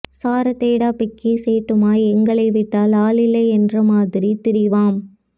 சாரத்தோட பெக்கி சேட்டுமாய் எங்களைவிட்டால் ஆள் இல்லை என்றமாதிரி திரிவம்